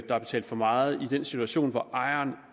der er betalt for meget i den situation hvor ejeren